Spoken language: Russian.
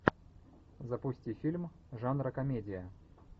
запусти фильм жанра комедия